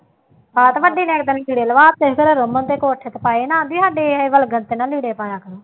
ਹਾਂ ਅਤੇ ਵੱਡੀ ਨੇ ਇੱਕ ਦਿਨ ਲੀੜੇ ਲਹਾ ਦਿੱਤੇ, ਕਹਿੰਦੀ ਜਿਹੜਾ ਰਮਨ ਦੇ ਕੋਟ ਸ਼ਰਟ ਪਾਏ ਨਾ, ਆਖਦੀ ਸਾਡੇ ਇਹ ਵੱਲ ਗਲਤ ਨਾ ਲੀੜੇ ਪਾਇਆ ਕਰੋ